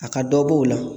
A ka dɔ b'o la